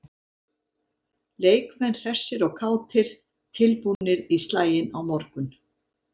Leikmenn hressir og kátir- tilbúnir í slaginn á morgun.